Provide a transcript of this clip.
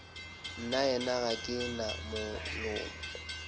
nnaena ga ke na molomo